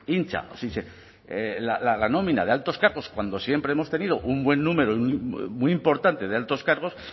hincha la nómina de altos cargos cuando siempre hemos tenido un buen número muy importante de altos cargos